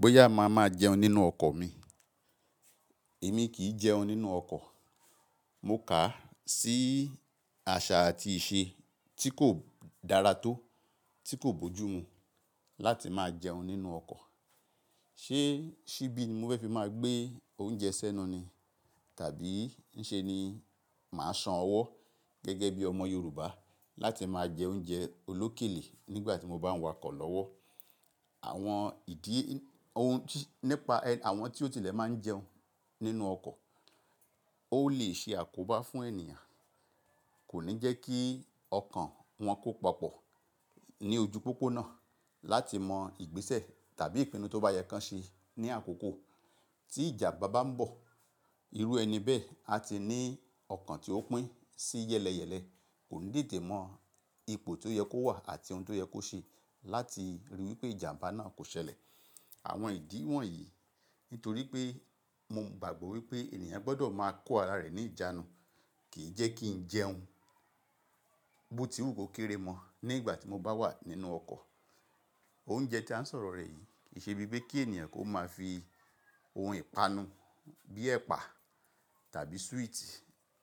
Bóyá a máa ma jẹun nínú ọkọ̀ mi, èmi kì í jẹun nínú ọkọ̀. Mo kà sí àṣà àti ìṣe tí kò dára tó, tí kò bójú mu láti máa jẹun nínú ọkọ̀. Ṣé ṣíbí ni mo fẹ́ fi máa gbé oúnjẹ sẹ́nu ni? Tàbí ń ṣe ni màá san ọwọ́ gẹ́gẹ́ bí ọmọ Yorùbá láti máa jẹ oúnjẹ olókèlé nígbà tí mo bá ń wakọ̀ lọ́wọ́? Àwọn ìdí Ohun tí nípa àwọn tí ó tilẹ̀ máa ń jẹun nínú ọkọ̀, ó lè ṣe àkóbá fún ènìyàn. Kò ní jẹ́ kí ọkàn wọn kó papọ̀ ní ojú pópónà láti mọ ìgbésẹ̀ tàbí ìpinnu tó bá yẹ kí wọ́n ṣe ní àkókò tí ìjàmbá bá ń bọ̀. Irú ẹni bẹ́ẹ̀ a ti ní ọkàn tí ó pín sí yẹ́lẹyẹ̀lẹ, kò ní dìde mọ ipò tí ó yẹ kó wà àti ohun tí ó yẹ kó ṣe láti ríi wí pé ìjàmbá náà kò ṣẹlẹ̀. Àwọn ìdí wọ̀nyí nítorí pé mo gbàgbọ́ wí pé ènìyàn gbọdọ̀ máa kó ara rẹ̀ ní ìjánu, kì í jẹ́ kí ń jẹun bó ti wù kó kéré mọ nígbà tí mo bá wà nínú ọkọ̀. Oúnjẹ tí a ń sọ̀rọ̀ rẹ̀ yìí kì í ṣe bíi pé kí ènìyàn kó máa fi ohun ìpanu bíi ẹ̀pà tàbí súwìtì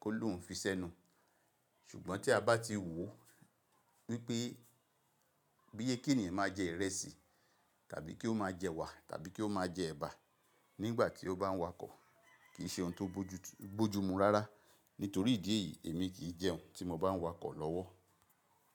kó lòún fi sẹ́nu. Ṣùgbọ́n tí a bá ti wò wípé bí yẹ kí ènìyàn máa jẹ ìrẹsì tàbí kí ó máa jẹ ewà tàbí kí ó máa jẹ ẹ̀bà nígbà tí ó bá ń wakọ̀ kì í ṣe ohun tó bójú mú rárá. Nítorí ìdí èyí èmi kì í jẹun tí mo bá ń wakọ̀ lọ́wọ́.